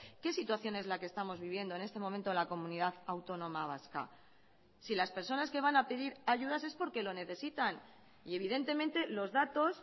qué situación es la que estamos viviendo en este momento la comunidad autónoma vasca si las personas que van a pedir ayudas es porque lo necesitan y evidentemente los datos